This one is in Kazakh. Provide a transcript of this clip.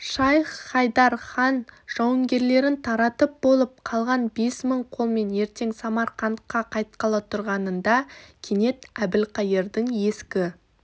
шайх-хайдар хан жауынгерлерін таратып болып қалған бес мың қолмен ертең самарқантқа қайтқалы тұрғанында кенет әбілқайырдың ескі